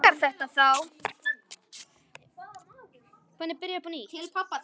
Honum líkar þetta þá.